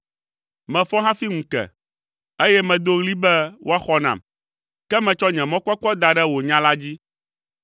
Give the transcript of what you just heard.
Mefɔ hafi ŋu ke, eye medo ɣli be woaxɔ nam, ke metsɔ nye mɔkpɔkpɔ da ɖe wò nya la dzi.